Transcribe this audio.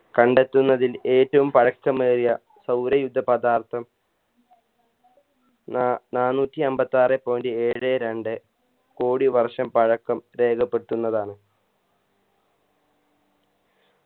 കണ്ടെത്തുന്നതിൽ ഏറ്റവും പഴക്കമേറിയ സൗരയൂഥ പദാർത്ഥം നാ നാനൂറ്റി അമ്പത്താറേ point ഏഴെ രണ്ട് കോടി വർഷം പഴക്കം രേഖപ്പെടുത്തുന്നതാണ്